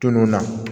Tunun na